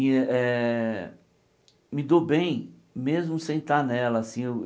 E eh eh me dou bem mesmo sem estar nela assim eu.